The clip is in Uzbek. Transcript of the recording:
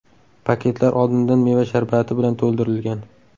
Paketlar oldindan meva sharbati bilan to‘ldirilgan.